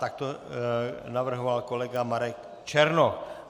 Tak to navrhoval kolega Marek Černoch.